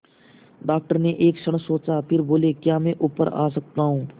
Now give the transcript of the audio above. doctor ने एक क्षण सोचा फिर बोले क्या मैं ऊपर आ सकता हूँ